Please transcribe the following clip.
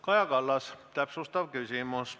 Kaja Kallas, täpsustav küsimus.